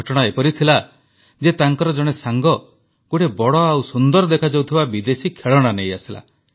ଘଟଣା ଏହାଥିଲା ଯେ ତାଙ୍କର ଜଣେ ସାଙ୍ଗ ଗୋଟିଏ ବଡ଼ ଓ ସୁନ୍ଦର ଦେଖାଯାଉଥିବା ବିଦେଶୀ ଖେଳଣା ନେଇଆସିଲା